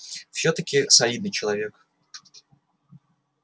всё-таки солидный человек